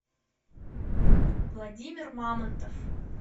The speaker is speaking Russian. владимир мамонтов